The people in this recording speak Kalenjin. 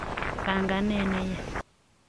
panganet ne ya'